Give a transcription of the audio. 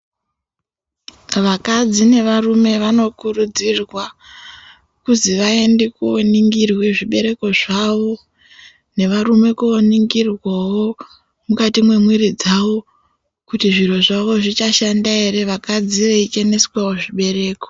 Vakadzi nevarume vanokurudzirwa kuzi vaende koningirwe zvibereko zvavo nevarume koningirwavo mukati mwemwiri dzavo. Kuti zviro zvavo zvichashanda ere vakadzi vei cheneswavo zvibereko.